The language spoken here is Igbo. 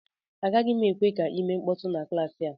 Agaghị m ekwe ka ị mee mkpọtụ na klaasị a